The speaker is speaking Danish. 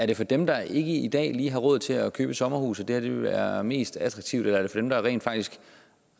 det for dem der ikke i dag lige har råd til at købe et sommerhus at det her vil være mest attraktivt eller er det for dem der rent faktisk